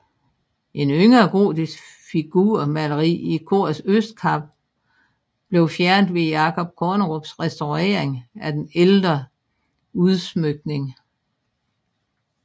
Et yngre gotisk figurmaleri i korets østkappe blev fjernet ved Jacob Kornerups restaurering af den ældre udsmykning